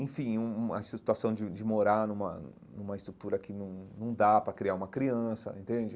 enfim, um uma situação de de morar numa numa estrutura que não não dá para criar uma criança, entende?